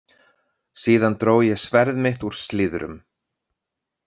Síðan dró ég sverð mitt úr slíðrum.